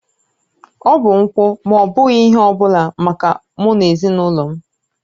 Ọ bụ nkwụ ma ọ bụghị ihe ọ bụla maka mụ na ezinụlọ m